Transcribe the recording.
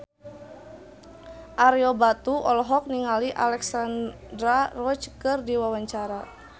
Ario Batu olohok ningali Alexandra Roach keur diwawancara